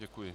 Děkuji.